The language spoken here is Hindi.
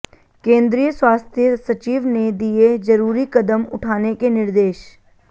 केंद्रीय स्वास्थ्य सचिव ने दिए जरूरी कदम उठाने के निर्देश